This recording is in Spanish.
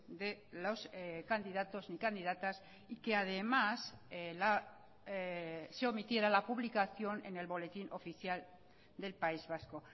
de los candidatos ni candidatas y que además se omitiera la publicación en el boletín oficial del país vasco